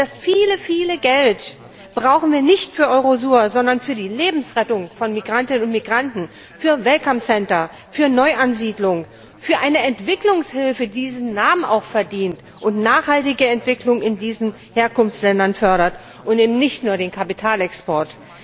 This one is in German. Das viele, viele Geld brauchen wir nicht für Eurosur, sondern für die Lebensrettung von Migrantinnen und Migranten, für welcome center für Neuansiedlung, für eine Entwicklungshilfe, die diesen Namen auch verdient und nachhaltige Entwicklung in diesen Herkunftsländern fördert, und eben nicht nur den Kapitalexport.